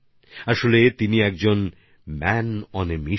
আসলে তিনি একজন ম্যান অন অ্যা মিশন